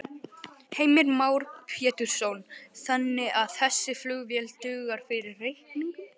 Heimir Már Pétursson: Þannig að þessi flugvél dugar fyrir reikningnum?